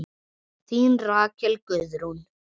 Þín Rakel Guðrún.